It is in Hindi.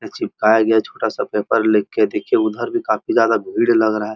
यहाँ चिपकाया गया छोटा सा पेपर लिख के देखिये उधर भी काफी ज्यादा भीड़ लग रहा --